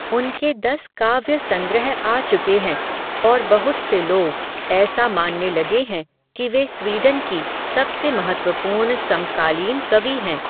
उनके दस काव्य संग्रह आ चुके हैं, और बहुत से लोग़, ऐसा मानने लगे हैं, कि वे स्वीडन की, सबसे महत्वपूर्ण समकालीन कवि हैं